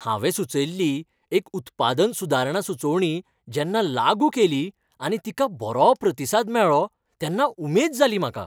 हांवें सुचयल्ली एक उत्पादन सुदारणा सुचोवणी जेन्ना लागू केली आनी तिका बरो प्रतिसाद मेळ्ळो तेन्ना उमेद जाली म्हाका.